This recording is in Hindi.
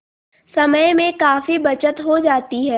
समय में काफी बचत हो जाती है